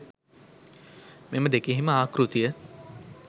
මෙම දෙකෙහිම ආකෘතිය